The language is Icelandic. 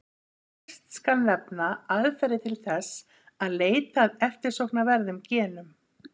Fyrst skal nefna aðferðir til þess að leita að eftirsóknarverðum genum.